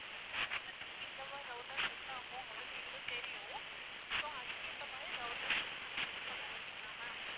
இந்த system த்துக்கு இந்த மாதிரி router set ஆகும் அப்படின்னு எங்களுக்கு தெரியும் so அதுக்கு ஏத்த மாதிரி routers வந்து நாங்க set பண்ணுவோம் okay ங்களா ma'am